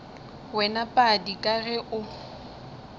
wena padi ka ge o